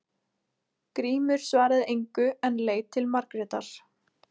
Grímur svaraði engu en leit til Margrétar.